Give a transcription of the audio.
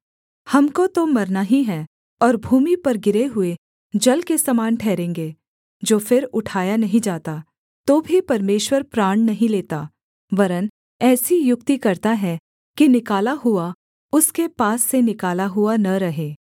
हमको तो मरना ही है और भूमि पर गिरे हुए जल के समान ठहरेंगे जो फिर उठाया नहीं जाता तो भी परमेश्वर प्राण नहीं लेता वरन् ऐसी युक्ति करता है कि निकाला हुआ उसके पास से निकाला हुआ न रहे